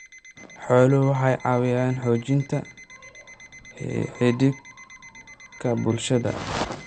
Xooluhu waxay caawiyaan xoojinta xidhiidhka bulshada.